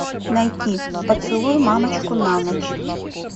найти поцелуй мамочку на ночь